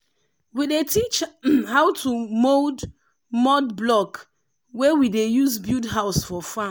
we dey teach how to mould mud block wey we dey use build house for farm.